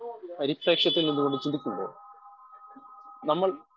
speaker 1 ക്ഷത്തത്തിൽ നിന്ന്കൊണ്ട് ചിന്തിക്കുമ്പോൾ നമ്മൾ